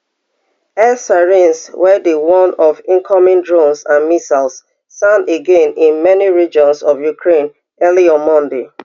air sirens wey dey warn of incoming drones and missiles sound again in many regions of ukraine early on monday